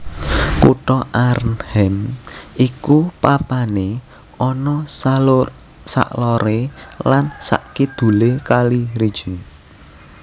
Kutha Arnhem iku papané ana saloré lan sakidulé kali Rijn